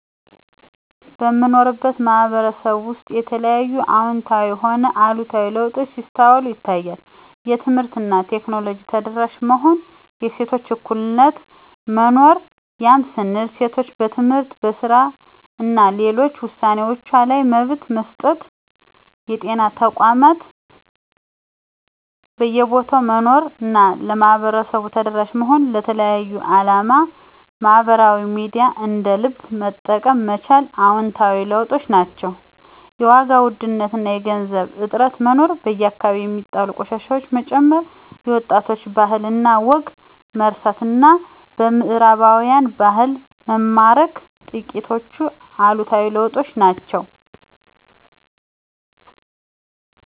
በምኖርበት ማህበረሰብ ውስጥ የተለያዩ አወንታዊም ሆነ አሉታዊ ለውጦች ሲስተዋሉ ይታያል። የትምህርት እና ቴክኖሎጂ ተደራሽ መሆን፣ የሴቶች እኩልነት መኖር ያም ስንል ሴቶች በትምህርት፣ በስራ እና ሌሎች ውሳኔወችዋ ላይ መብት መሰጠት፣ የጤና ተቋማት በየቦታው መኖር እና ለማህበረሰቡ ተደራሽ መሆን፣ ለተለያየ አላማ ማህበራዊ ሚዲያን እንደ ልብ መጠቀም መቻል አወንታዊ ለውጦች ናቸው። የዋጋ ውድነት እና የገንዘብ እጥረት መኖር፣ በየአከባቢው ሚጣሉ ቆሻሻወች መጨመር፣ የወጣቶች ባህል እና ወግን መርሳት እና በምህራባውያን ባህል መማረክ ጥቂቶቹ አሉታዊ ለውጦች ናቸው።